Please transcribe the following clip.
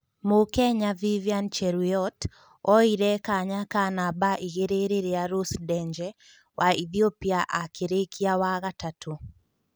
Mũkenya Vivian Cheruyot oire kanya ka namba igĩrĩ rĩrĩa Rose Ndenje wa Ithiopia akĩrĩkia wa gatatũ.